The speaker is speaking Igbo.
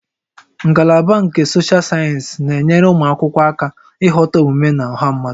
Ngalaba nke Sochal sayensị na-enyere ụmụ akwụkwọ aka ịghọta omume na ọha mmadụ